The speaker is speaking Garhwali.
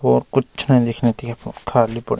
और कुछ नयी दिख्येण ति यख फुंड खाली पड।